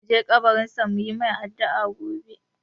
Za mu je kabarin sa mu yi mai addu'a gobe.